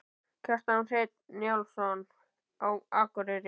Kjartan Hreinn Njálsson: Á Akureyri?